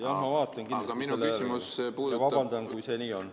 Jaa, ma vaatan kindlasti järele ja vabandust, kui see nii on.